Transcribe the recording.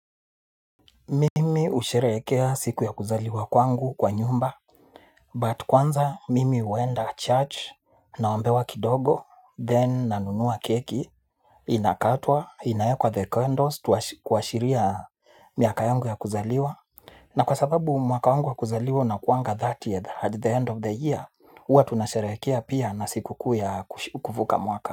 Mimi husherehekea siku ya kuzaliwa kwangu kwa nyumba But kwanza, mimi huenda church, naombewa kidogo, then nanunua keki. Inakatwa, inawekwa the candles, tuashiria miaka yangu ya kuzaliwa. Na kwa sababu mwaka wangu ya kuzaliwa huanga 30th at the end of the year. Huwa tunasherehekea pia na sikukuu ya kuvuka mwaka.